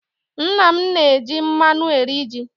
Nna m na-eji mmanụ eri ji.